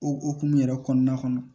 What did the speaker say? O hukumu yɛrɛ kɔnɔna kɔnɔ